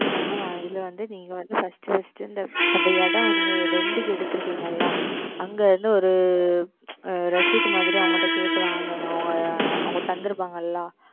Mam இதில் வந்து நீங்கள் வந்து FirstFirst இந்த அந்த இடம் Rent க்கு எடுத்திருப்பீர்கள் அல்லவா அங்கே வந்து ஓர் Receipt மாதிரி அவர்களிடம் கேட்டு வாங்குங்கள் அவர்கள் அவர்கள் தந்து இருப்பார்கள் அல்லவா